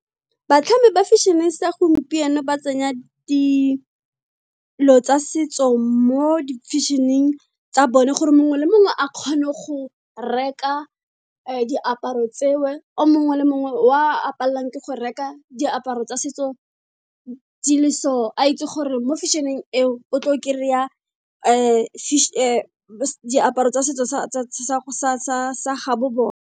Batlhami ba fashion-e sa gompieno ba tsenya dilo tsa setso mo di fashion-ing tsa bone gore mongwe le mongwe a kgone go reka diaparo tseo, o mongwe le mongwe wa a palelwang ke go reka diaparo tsa setso di le so. A itse gore mo fashion-eng eo, o tle o kry-a diaparo tsa setso sa ga bo bona.